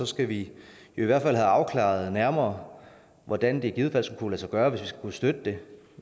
skal vi jo i hvert fald have afklaret nærmere hvordan det i givet fald skulle sig gøre hvis vi skal kunne støtte det